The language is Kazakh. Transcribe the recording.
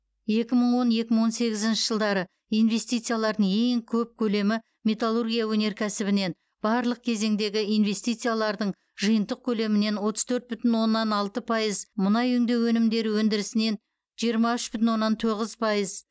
екі мың он екі мың он сегізінші жылдары инвестициялардың ең көп көлемі металлургия өнеркәсібінен барлық кезеңдегі инвестициялардың жиынтық көлемінен отыз төрт бүтін оннан алты пайыз мұнай өңдеу өнімдері өндірісінен жиырма үш бүтін оннан тоғыз пайыз